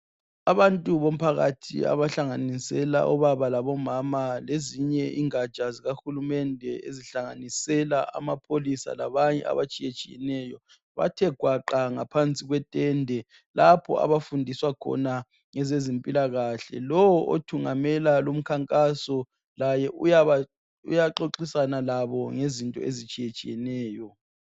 Abantu bomphakathi abahlanganisela obaba labo mama lezinye ingatsha zika hulumende ezihlanganisela amapholisi labanye abatshiyatshiyeneyo bathe gwaqa ngaphansi kwe tende lapho abafundiswa khona ngeze zimpilakahle. Lowo othungamela umkhankaso laye uyaxoxisana labo ngezinto ezitshiyetshiyeneyo.